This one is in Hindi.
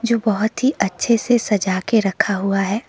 जो बहोत ही अच्छे से सजाके रखा हुआ है।